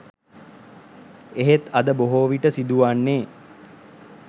එහෙත් අද බොහෝ විට සිදු වන්නේ